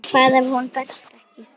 Hvað ef hún berst ekki?